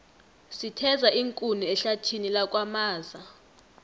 sitheza iinkuni ehlathini lakwamaza